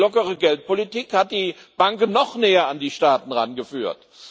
Nein, die lockere Geldpolitik hat die Banken noch näher an die Staaten herangeführt.